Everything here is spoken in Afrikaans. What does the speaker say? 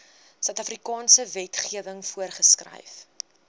suidafrikaanse wetgewing voorgeskryf